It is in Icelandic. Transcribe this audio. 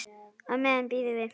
Á meðan bíðum við.